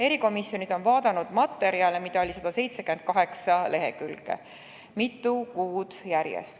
Erikomisjonid on vaadanud materjale, mida oli 178 lehekülge, mitu kuud järjest.